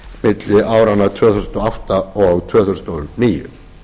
milli áranna tvö þúsund og átta og tvö þúsund og níu